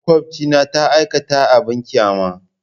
Makwabcina ya aikata abin ƙyama.